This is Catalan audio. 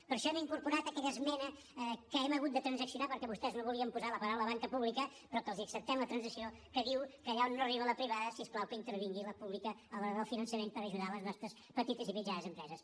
per això hem incorporat aquella esmena que hem hagut de transaccionar perquè vostès no volien posar les paraules banca pública però que els acceptem la transacció que diu que allà on no arriba la privada si us plau que hi intervingui la pública a l’hora del finançament per ajudar les nostres petites i mitjanes empreses